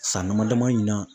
San dama dama in na.